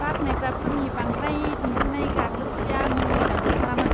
बाख्नायग्राफोरनि बांद्राय दिन्थिनाय गाग्लोबथिया मोजां नंथारामोन!